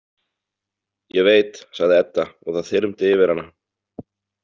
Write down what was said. Ég veit, sagði Edda og það þyrmdi yfir hana.